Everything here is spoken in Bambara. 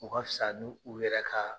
O ka fisa n'u yɛrɛ ka